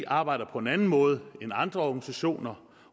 arbejder på en anden måde end andre organisationer